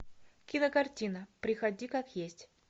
кинокартина приходи как есть